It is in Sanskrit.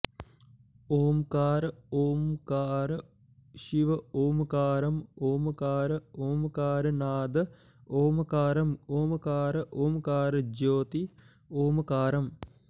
ॐकार ॐकार शिव ॐकारम् ॐकार ॐकार नाद ॐकारम् ॐकार ॐकार ज्योति ॐकारम्